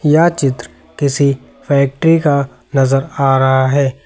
यह चित्र किसी फैक्ट्री का नजर आ रहा है।